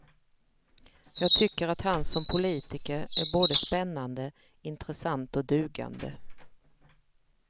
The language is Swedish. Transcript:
Jag tycker att han som politiker är både spännande, intressant och dugande.